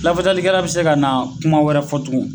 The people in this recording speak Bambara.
Lafasalikɛla bi se ka na kuma wɛrɛ fɔ tugun